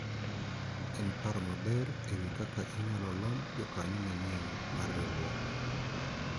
en paro maber ewi kaka inyalo lomb jokanyo manyien mar riwruok